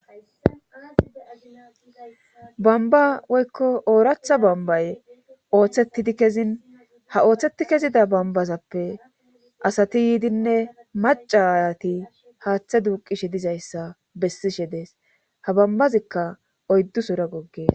bamba woykko ooratha bambaye ooththetidi kezin ha ooththeti kezida bambazappe asati yiidinne macayati haaththa duuqishe dizayssa bessishe dees ha bambazikka oyddu sora goggees